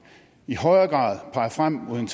i højere grad peger frem mod en